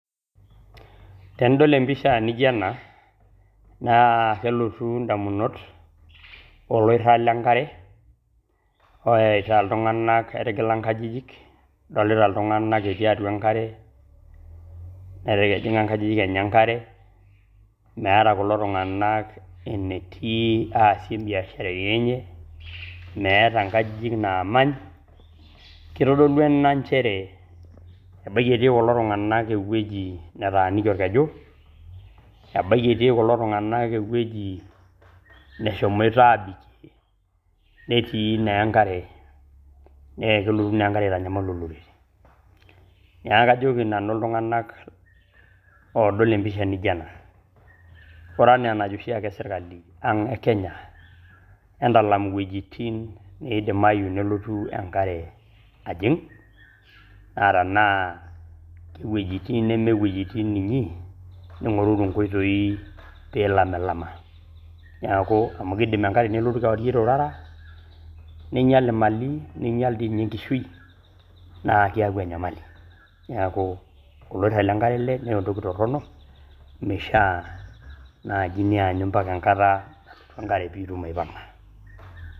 Tenidol empisha nijo ena, naa kelotu indamunot oloiraa le nkare oeta ltunganak eita nkajijik ,adolita ltunganak etii atua enkare netaa kejing' enkajijik enye enkare, meeta kulo tunganak enetii aasie mbiasharani enye, meeta enkajijik naamany, keitodolu ena inchere ebaki etii kulo tunganak eweji nataani olkeju ,ebaki etii kulo tunganak eweji neshemoita aabike netii naa enkare nee kelotu naa enkare aitanyamal olori, naa kajoki nanu iltunganak oodol empisha nijo ,ore ena enajo oshaake serikali ekenya entalam wejitin neidimayu nelotu enkare ajing atanaa wejitin nemee wejitin inyi niing'oruru inkoitoi piilamlama, neaku amu keidim inkare nelotu kewairie otara neinyal malii, neinyal dei ninye enkishui naa keaku enyamali, naaku lkurusa le inkare ale nenotoki torono meishaa naaji nianyu mpaka enkata nalotu enkare piilotu aipanga.